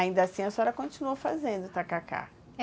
Ainda assim, a senhora continuou fazendo o tacacá.